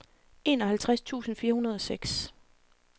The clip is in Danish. enoghalvtreds tusind fire hundrede og seks